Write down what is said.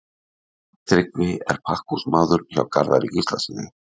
Tryggvi er pakkhúsmaður hjá Garðari Gíslasyni.